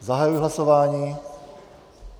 Zahajuji hlasování.